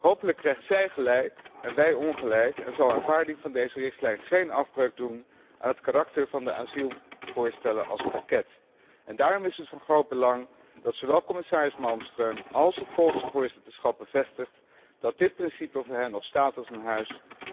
Hopelijk krijgt zij gelijk en wij ongelijk en zal aanvaarding van deze richtlijn geen afbreuk doen aan het karakter van de asielvoorstellen als pakket. Daarom is het van groot belang dat zowel commissaris Malmström als het Poolse voorzitterschap bevestigen dat dit principe voor hen nog staat als een huis.